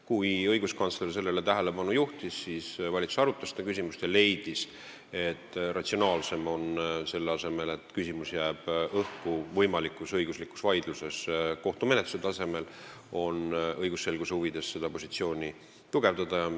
Kui õiguskantsler sellele tähelepanu juhtis, siis valitsus arutas seda küsimust ja leidis, et õigusselguse huvides on ratsionaalsem – selle asemel, et küsimus jääb õhku võimalikus õiguslikus vaidluses kohtumenetluse tasemel – seda positsiooni tugevdada.